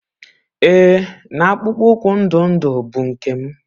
Ee na akpụkpọ ụkwụ ndụ ndụ bụ nke m.